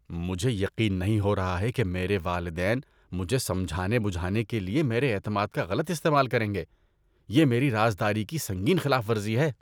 مجھے یقین نہیں ہو رہا ہے کہ میرے والدین مجھے سمجھا بجھانے کے لیے میرے اعتماد کا غلط استعمال کریں گے۔ یہ میری رازداری کی سنگین خلاف ورزی ہے۔